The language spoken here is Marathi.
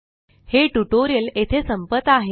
हे ट्यूटोरियल येथे संपत आहे